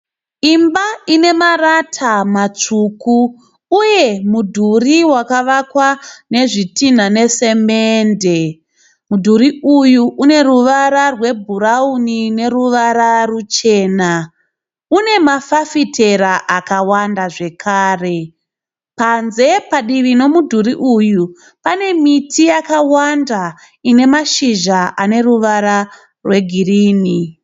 Imba inemarata matsvuku uye mudhuri wakavakwa nezvitina nesemende. Mudhuri uyu uneruvara rwebhurauni neruvara ruchena, une mafafitera akawanda zvakare. Panze padivi nemudhuri uyu pane miti yakawanda ane mashizha ane ruvara rwegirini.